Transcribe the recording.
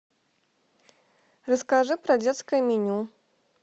расскажи про детское меню